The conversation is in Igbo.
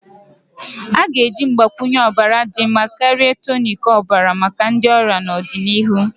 A ga-eji mgbakwunye ọbara dị mma karịa tonic ọbara maka ndi ọrịa n'ọdịnihu.